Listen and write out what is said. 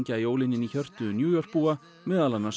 jólin inn í hjörtu New York búa meðal annars